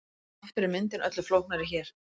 Aftur er myndin öllu flóknari hér.